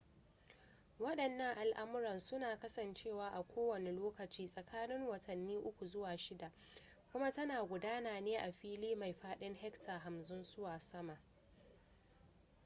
wadannan al'amuran suna kasancewa a kowane lokaci tsakanin watanni uku zuwa shida kuma tana gudana ne a fili mai fadin hectares 50 zuwa sama